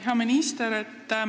Hea minister!